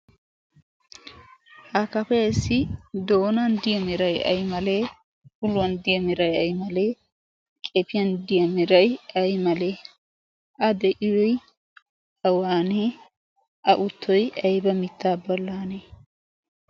Ha kafeessi doonan diyaamirai ai malee uluwan diyaamirai ai malee qefiyan diyaamirai ai malee a de7ii awaanee a uttoi aiba mittaa balaanee?